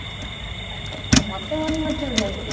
ମୋତେ ମନେ ନଥିବ କେମିତି